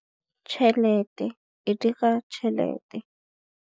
Tšhelete e dira tšhelete.